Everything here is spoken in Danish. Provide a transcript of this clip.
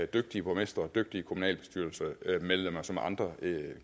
dygtige borgmestre og dygtige kommunalbestyrelsesmedlemmer som andre